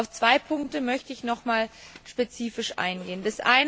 Auf zwei Punkte möchte ich noch einmal spezifisch eingehen.